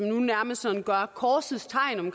nu nærmest gør korsets tegn i